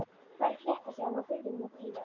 Hvað er að frétta héðan úr firðinum og víðar?